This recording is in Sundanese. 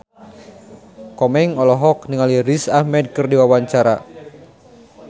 Komeng olohok ningali Riz Ahmed keur diwawancara